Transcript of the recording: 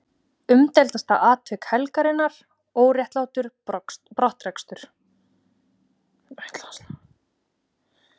Umdeildasta atvik helgarinnar: Óréttlátur brottrekstur?